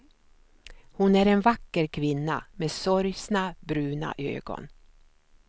Hon är en vacker kvinna med sorgsna, bruna ögon.